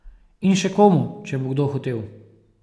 In še komu, če bo kdo hotel.